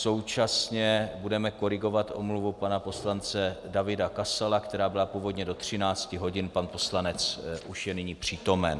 Současně budeme korigovat omluvu pana poslance Davida Kasala, která byla původně do 13 hodin, pan poslanec už je nyní přítomen.